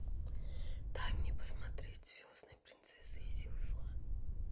дай мне посмотреть звездная принцесса и силы зла